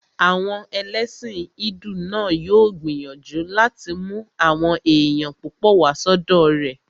Àwọn ẹlẹ́sìn hídù náà yóò gbìyànjú láti mú àwọn èèyàn púpọ̀ wá sọ́dọ̀ rẹ̀